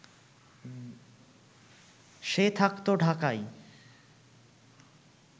সে থাকত ঢাকাই